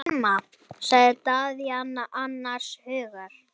Glíma, sagði Daðína annars hugar.